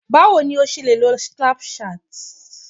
bawo ni o ṣe lè lo Snapchat